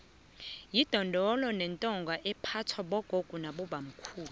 idondolo yintonga ephathwa bogogo nabobamkhulu